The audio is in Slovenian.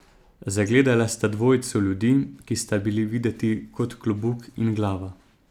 Zagledala sta dvojico ljudi, ki sta bila videti kot klobuk in glava.